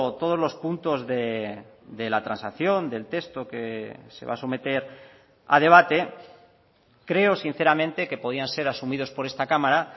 todos los puntos de la transacción del texto que se va a someter a debate creo sinceramente que podían ser asumidos por esta cámara